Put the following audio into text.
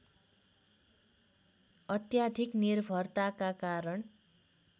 अत्याधिक निर्भरताका कारण